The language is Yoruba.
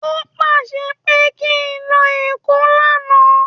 O pàṣẹ pé kí n lọ èkó lánàá